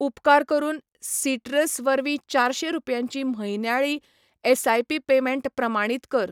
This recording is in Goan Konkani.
उपकार करून सिट्रस वरवीं चारशें रुपयांची म्हयन्याळी एसआयपी पेमेंट प्रामाणीत कर